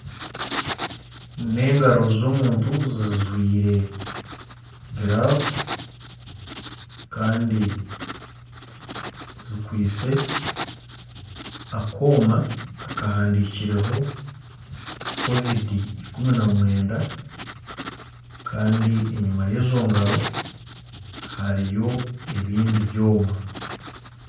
Engaro z'omuntu zijwire giravu kandi zikwitse akooma akahandikireho Covid 19 kandi enyuma y'engaro hariyo ebindi byona.